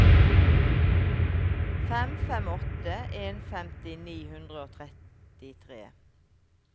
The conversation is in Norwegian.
fem fem åtte en femti ni hundre og trettitre